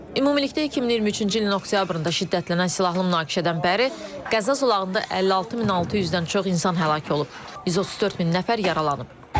Ümumilikdə 2023-cü ilin oktyabrında şiddətlənən silahlı münaqişədən bəri Qəzza zolağında 56600-dən çox insan həlak olub, 134000 nəfər yaralanıb.